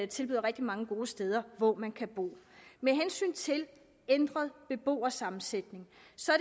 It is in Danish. tilbyder rigtig mange gode steder hvor man kan bo med hensyn til ændret beboersammensætning